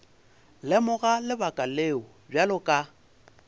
lemoga lebaka leo bjale ka